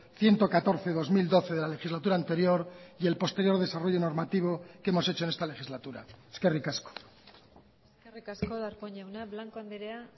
ciento catorce barra dos mil doce de la legislatura anterior y el posterior desarrollo normativo que hemos hecho en esta legislatura eskerrik asko eskerrik asko darpón jauna blanco andrea